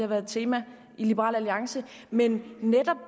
været et tema i liberal alliance men netop